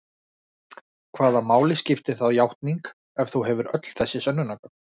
Hvaða máli skiptir þá játning ef þú hefur öll þessi sönnunargögn?